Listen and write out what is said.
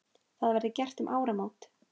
Það verði gert um áramót.